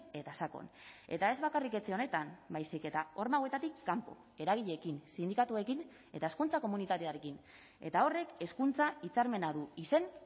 eta sakon eta ez bakarrik etxe honetan baizik eta horma hauetatik kanpo eragileekin sindikatuekin eta hezkuntza komunitatearekin eta horrek hezkuntza hitzarmena du izen